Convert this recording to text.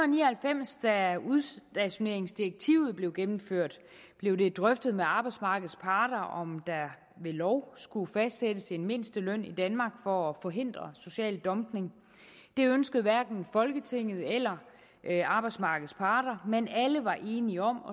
ni og halvfems da udstationeringsdirektivet blev gennemført blev det drøftet med arbejdsmarkedets parter om der ved lov skulle fastsættes en mindsteløn i danmark for at forhindre social dumping det ønskede hverken folketinget eller arbejdsmarkedets parter men alle var enige om at